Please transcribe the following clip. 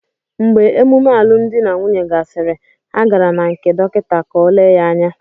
Mgbe emume alụmdi na nwunye gasịrị, ha gara na nkè dọkịta ka o lee ya anya